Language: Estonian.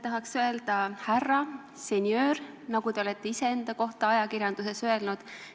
Tahaks öelda "härra" või "senjöör", nagu te olete ise enda kohta ajakirjanduses öelnud.